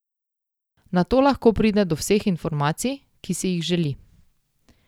Nato lahko pride do vseh informacij, ki si jih želi.